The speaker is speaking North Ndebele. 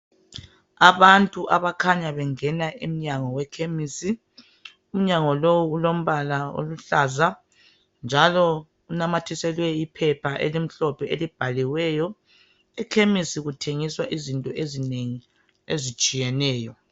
Abantu abakhanya abakhanya bengena emnyango wekhemisi. Umnyango lowu ulombala oluhlaza njalo unamathiselwe iphepha elimhlophe elibhaliweyo. Ekhemisi kuthengiswa izinto ezinengi ezitshiyeneyo.